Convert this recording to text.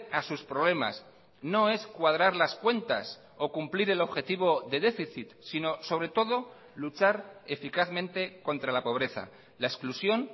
a sus problemas no es cuadrar las cuentas o cumplir el objetivo de déficit sino sobre todo luchar eficazmente contra la pobreza la exclusión